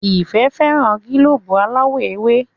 Ìfẹ́ féràn gílóòbù aláwò ewe.